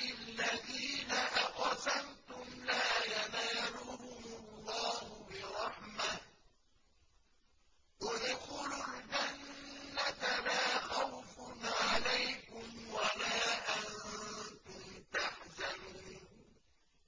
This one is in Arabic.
الَّذِينَ أَقْسَمْتُمْ لَا يَنَالُهُمُ اللَّهُ بِرَحْمَةٍ ۚ ادْخُلُوا الْجَنَّةَ لَا خَوْفٌ عَلَيْكُمْ وَلَا أَنتُمْ تَحْزَنُونَ